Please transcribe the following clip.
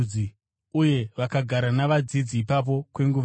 Uye vakagara navadzidzi ipapo kwenguva refu.